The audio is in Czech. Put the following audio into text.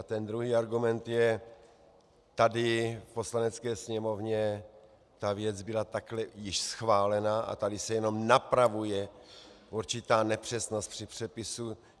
A ten druhý argument je - tady v Poslanecké sněmovně ta věc byla takhle již schválena a tady se jenom napravuje určitá nepřesnost při přepisu.